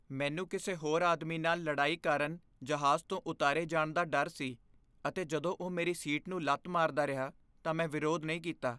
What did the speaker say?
ਮੈਨੂੰ ਕਿਸੇ ਹੋਰ ਆਦਮੀ ਨਾਲ ਲੜਾਈ ਕਾਰਨ ਜਹਾਜ਼ ਤੋਂ ਉਤਾਰੇ ਜਾਣ ਦਾ ਡਰ ਸੀ ਅਤੇ ਜਦੋਂ ਉਹ ਮੇਰੀ ਸੀਟ ਨੂੰ ਲੱਤ ਮਾਰਦਾ ਰਿਹਾ ਤਾਂ ਮੈਂ ਵਿਰੋਧ ਨਹੀਂ ਕੀਤਾ।